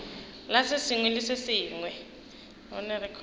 la se sengwe le se